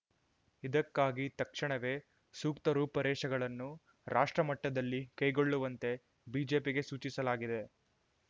ಇದಕ್ಕಾಗಿ ತಕ್ಷಣವೇ ಸೂಕ್ತ ರೂಪುರೇಷೆಗಳನ್ನು ರಾಷ್ಟ್ರಮಟ್ಟದಲ್ಲಿ ಕೈಗೊಳ್ಳುವಂತೆ ಬಿಜೆಪಿಗೆ ಸೂಚಿಸಲಾಗಿದೆ